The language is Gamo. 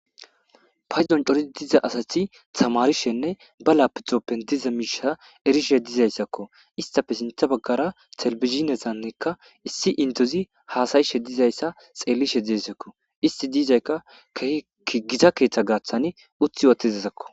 paydon corii diza asathi tamarishenne ba lapidoppen diza miisha erishe dizayssakko istafe sintha baggara selbizinesannekka issi indozi haasayishe dizayssa xeellishe deesekko isti diizaykka kekegiza keeththa gaaththani uthi otizasakko